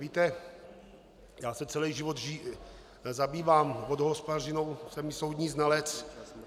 Víte, já se celý život zabývám vodohospodařinou, jsem i soudní znalec.